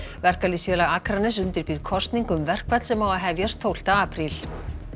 verkalýðsfélag Akraness undirbýr kosningu um verkfall sem á að hefjast tólfta apríl